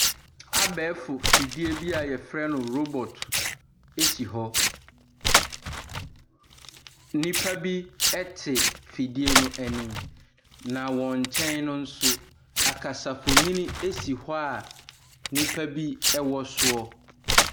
Abɛɛfo mfidie bi a wɔfrɛ no robot si hɔ. Nnipa bi te afidie no anim, na wɔn nkyɛn no nso. Akasamfonin si hɔ a nnipa bi wɔ so.